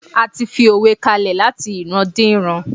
s ti fi òwe kalẹ lati ìran di ìran